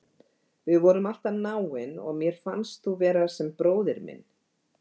Við vorum alltaf náin og mér fannst þú vera sem bróðir minn.